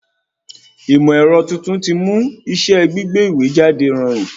Ìmọ̀ ẹ̀rọ tuntun ti mú iṣẹ́ gbígbé ìwé jáde rọrùn